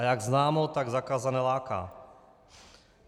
A jak známo, tak zakázané láká.